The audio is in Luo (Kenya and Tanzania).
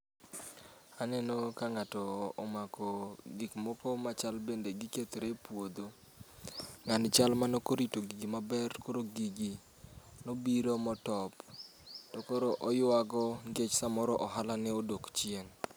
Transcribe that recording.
Aneno ka ng'ato omako gik moko machal bende gikethre e puodho. Ng'ani chal mane ok orito gigi maber koro gigi nobiro motop. Kendo koro oyuago nikech samoro ohalane odok chien.